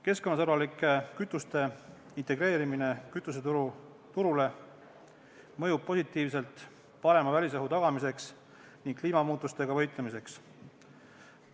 Keskkonnasõbralike kütuste integreerimine kütuseturule mõjub positiivselt parema välisõhu tagamiseks ning kliimamuutustega võitlemiseks.